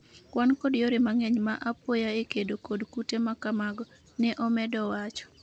wan kod yore mang'eny ma apoya e kedo kod kute makamago, ne omedo wacho